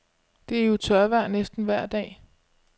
Det er jo tørvejr næsten vejr dag.